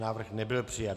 Návrh nebyl přijat.